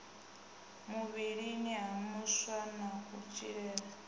muvhilini ha vhaswa na kudzhenele